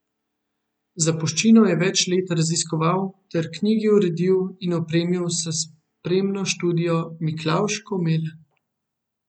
Zapuščino je več let raziskoval ter knjigi uredil in opremil s spremno študijo Miklavž Komelj.